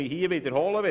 Ich wiederhole mich: